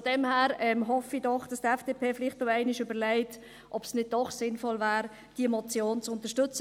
Von daher hoffe ich doch, dass sich die FDP vielleicht noch einmal überlegt, ob es nicht doch sinnvoll wäre, diese Motion zu unterstützen.